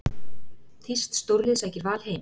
Þýskt stórlið sækir Val heim